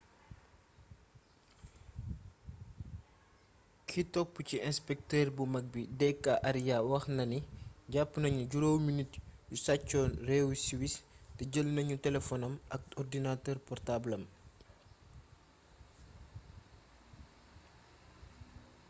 ki topp ci inspektër bu mag bi d k arya wax na ni: «jàpp nañu juróomi nit yu saccoon réewu siwis te jël nañu telefonam ak ordinatëër portaabalam».